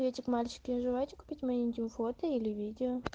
эти мальчики не желаете купить моим фото или видео